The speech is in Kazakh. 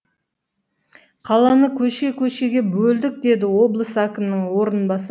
қаланы көше көшеге бөлдік деді облыс әкімінің орынбасары